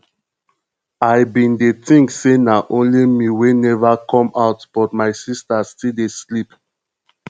i bin dey think say na only me wey never come out but my sister still dey sleep